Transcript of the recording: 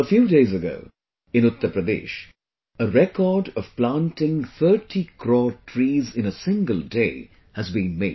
A few days ago, in Uttar Pradesh, a record of planting 30 crore trees in a single day has been made